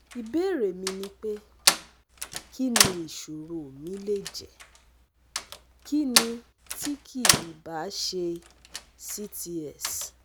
Ibéèrè mi ni pé, kíni isoro mi le jẹ́, kíni ti ki i ba se CTS?